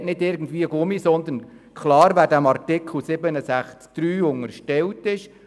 Es ist kein Gummiartikel, sondern es ist klar festgehalten, wer dem Artikel 67 unterstellt ist.